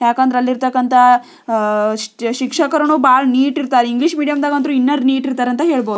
ಯಾಕೆಂದ್ರೆ ಅಲ್ಲಿ ಇರ್ತಕ್ಕಂಥ ಅಹ್ ಅಹ್ ಶಿಕ್ಷಕರು ಬಹಳ ನೀಟ್ ಇರತಾರ ಇಂಗ್ಲಿಷ್ ಮೀಡಿಯಂ ನಲ್ಲಿ ಇನ್ನ ನೀಟ್ ಇರ್ತಾರ ಅಂತ ಹೇಳಬಹುದು.